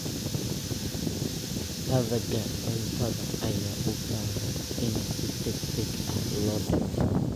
Hadhaaga cuntada ayaa u baahan in si degdeg ah loo dhimo.